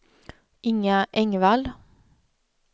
Inga Engvall